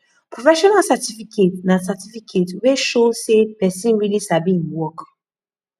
professional certificate na certificate wey show sey person really sabi im work